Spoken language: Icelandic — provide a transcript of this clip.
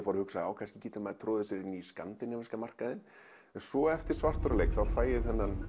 fór að hugsa kannski getur maður troðið sér í markaðinn svo eftir svartur á leik fæ ég